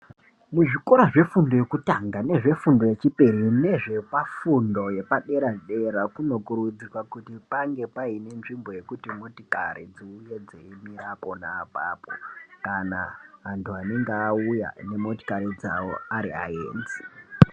Muzvikora zvefundo yekutanga nezvefundo yechipiri nezvepafundo yepadera dera, kunokurudzirwa kuti pange paine nzvimbo yekuti motikari dziuye dzeimira ponaapapo kana antu anenge auya nemotikari dzawo ariayenzi.